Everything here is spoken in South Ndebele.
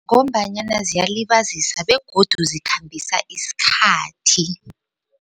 Ngombanyana ziyazilibazisa begodu zikhambisa isikhathi.